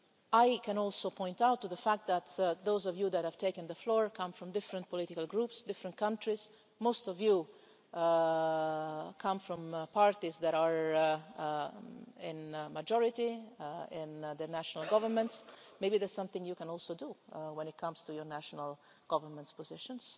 I can also point to the fact that those of you who have taken the floor come from different political groups and different countries. Most of you come from parties that have a majority in the national governments. Maybe there is something you can also do when it comes to your national governments' positions.